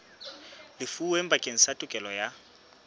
lefuweng bakeng sa tokelo ya